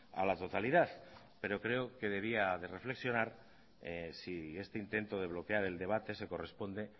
a la totalidad pero creo que debía de reflexionar si este intento de bloquear el debate se corresponde